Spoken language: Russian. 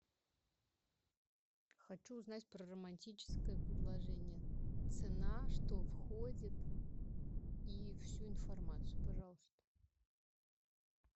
хочу узнать про романтическое предложение цена что входит и всю информацию пожалуйста